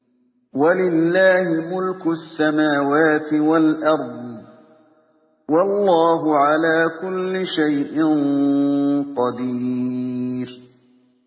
وَلِلَّهِ مُلْكُ السَّمَاوَاتِ وَالْأَرْضِ ۗ وَاللَّهُ عَلَىٰ كُلِّ شَيْءٍ قَدِيرٌ